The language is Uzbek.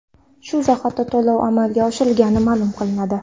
Shu zahoti to‘lov amalga oshirilgani ma’lum qilinadi.